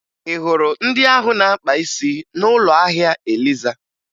Ị hụrụ ndị ahụ na-akpa isi n'ụlọ ahịa Eliza?